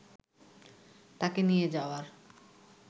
তাঁকে নিয়ে যাওয়ার